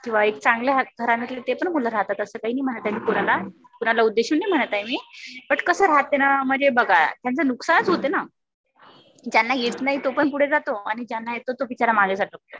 किंवा एक चांगल्या घराण्यातले ते पण मुलं राहतात. असं काही नाही म्हणत आहे मी कुणाला. कुणाला उद्देशून नाही म्हणत आहे मी. बट कस राहते ना म्हणजे बघा. म्हणजे नुकसानच होते ना. ज्यांना येत नाही तो पण पुढे जातो आणि ज्यांना येत तो बिचारा मागे राहतो